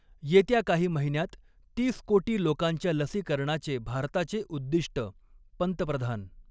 येत्या काही महिन्यांत तीस कोटी लोकांच्या लसीकरणाचे भारताचे उद्दिष्ट, पंतप्रधान